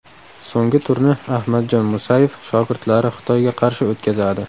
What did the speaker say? So‘nggi turni Ahmadjon Musayev shogirdlari Xitoyga qarshi o‘tkazadi.